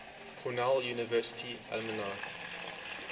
cornell university alumni